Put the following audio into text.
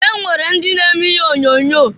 E nwere ndị na-eme ihe onyoonyo.